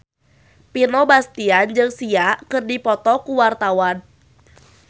Vino Bastian jeung Sia keur dipoto ku wartawan